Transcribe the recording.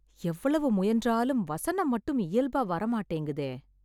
எவ்வளவு முயன்றாலும் வசனம் மட்டும் இயல்பா வர மாட்டேங்குதே!